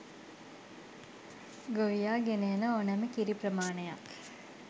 ගොවියා ගෙන එන ඕනෑම කිරි ප්‍රමාණයක්